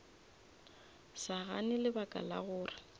sa gane lebaka la gore